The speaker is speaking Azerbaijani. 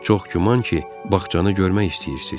Çox güman ki, bağçanı görmək istəyirsiz.